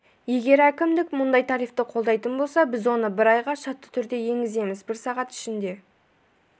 егер әкімдік мұндай тарифты қолдайтын болса біз оны бір айға шартты түрде енгіземіз бір сағат ішінде